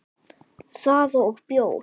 Það og bjór.